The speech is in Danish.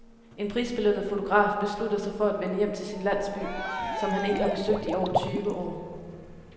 En prisbelønnet fotograf beslutter sig for at vende hjem til sin landsby, som han ikke har besøgt i over tyve år.